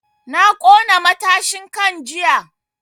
Na ƙona matashin kan jiya